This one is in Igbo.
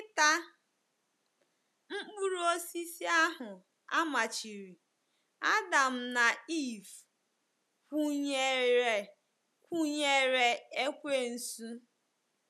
Site n’ita mkpụrụ osisi ahụ a machiri, Adam na Eve kwụnyeere kwụnyeere ekwensu.